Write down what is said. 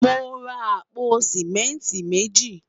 mọ rà àpò simẹnti meji